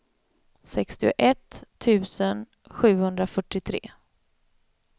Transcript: sextioett tusen sjuhundrafyrtiotre